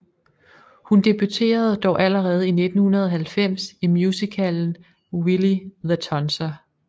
Hun debuterede dog allerede i 1990 i musicalen Willy The Tonser